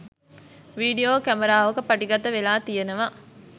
video කැමරාවක පටිගත වෙලා තියෙනවා